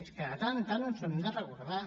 és que de tant en tant ens ho hem de recordar